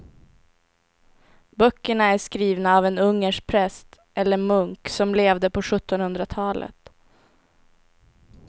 Böckerna är skrivna av en ungersk präst eller munk som levde på sjuttonhundratalet.